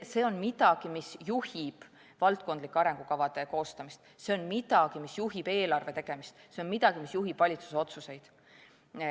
See on midagi, mis juhib valdkondlike arengukavade koostamist, see on midagi, mis juhib eelarve tegemist, see on midagi, mis juhib valitsuse otsuseid.